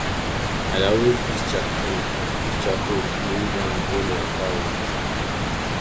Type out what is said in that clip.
i dey always use charcoal use charcoal clean ground wey my fowl dey stay